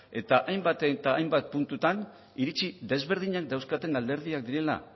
eta hainbat eta hainbat puntutan iritzi ezberdinak dauzkaten alderdiak direla